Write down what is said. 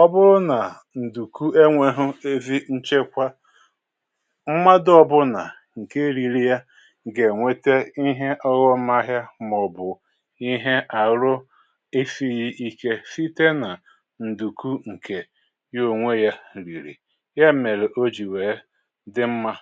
Ọ bụrụ nà ǹdùku enwėghị ezi nchekwa, mmadụ ọbụlà ǹke riri ya g’ènweta ihe ọghọmahịa mà ọ bụ̀ ihe àhụ esighị ike site nà ǹdùku ǹkè ya ònwe ya rìrì. Ya mèrè o jì wèe dị mmà.